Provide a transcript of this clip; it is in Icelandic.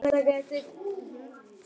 Það var aldrei talið eftir.